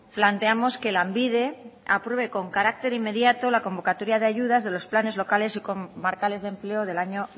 planteamos que lanbide apruebe con carácter inmediato la convocatoria de ayudas de los planes locales y comarcales de empleo del año